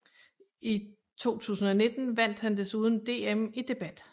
I 2019 vandt han desuden DM i debat